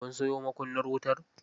Kun sayo makunnar wutar?